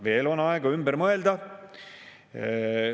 Veel on aega ümber mõelda!